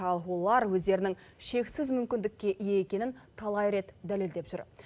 ал олар өздерінің шексіз мүмкіндікке ие екенін талай рет дәлелдеп жүр